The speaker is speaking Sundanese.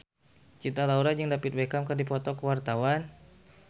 Cinta Laura jeung David Beckham keur dipoto ku wartawan